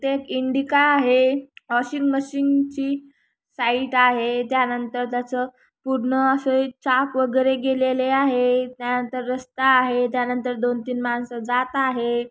ते इंडिका आहे washing machine ची साइट आहे त्या नंतर त्याच पुढन अस एक चाक वगैरे गेलेले आहे त्यानंतर रस्ता आहे त्यानंतर दोन तीन माणस जात आहे.